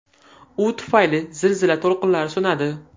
U tufayli zilzila to‘lqinlari so‘nadi.